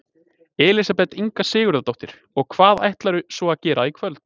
Elísabet Inga Sigurðardóttir: Og hvað ætlarðu svo að gera í kvöld?